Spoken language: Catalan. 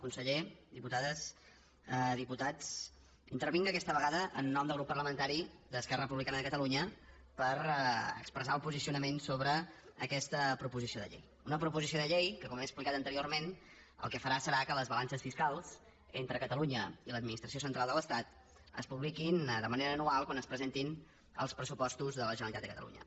conseller diputades diputats intervinc aquesta vegada en nom del grup parlamentari d’esquerra republicana de catalunya per expressar el posicionament sobre aquesta proposició de llei una proposició de llei que com he explicat anteriorment el que farà serà que les balances fiscals entre catalunya i l’administració central de l’estat es publiquin de manera anual quan es presentin els pressupostos de la generalitat de catalunya